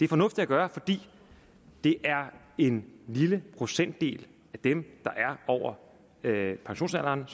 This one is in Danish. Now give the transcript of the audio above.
fornuftigt at gøre fordi det er en lille procentdel af dem der er over pensionsalderen